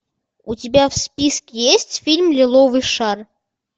у тебя в списке есть фильм лиловый шар